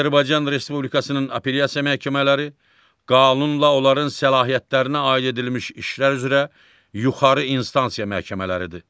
Azərbaycan Respublikasının Apellyasiya Məhkəmələri qanunla onların səlahiyyətlərinə aid edilmiş işlər üzrə yuxarı instansiya məhkəmələridir.